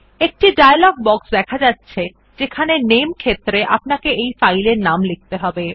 একটি dialog box দেখা যাচ্ছে যেখানে নামে ক্ষেত্রে আপনাকে ফাইল এর নাম লিখতে হবে